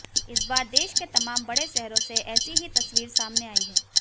इस बार देश के तमाम बड़े शहरों से ऐसी ही तस्वीर सामने आई है